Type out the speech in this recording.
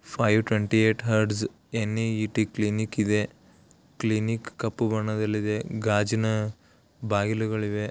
Five twenty eight huts N A E T clinic ಇದೆ clinic ಕಪ್ಪು ಬಣ್ಣದಲ್ಲಿದೆ ಗಾಜಿನ ಬಾಗಿಲುಗಳು ಇವೆ.